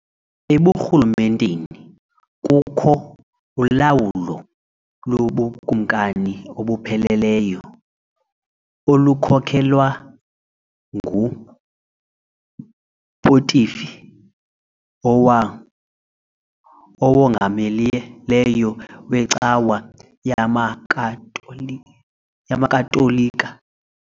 EbuRhulumenteni kukho ulawulo lobukumkani obupheleleyo , olukhokelwa nguPontifi Owongamileyo weCawa yamaKatolika .